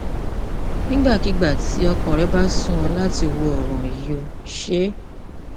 nígbàkigbà tí ọkàn rẹ bá sún ọ láti wo ọràn yìí o ṣe é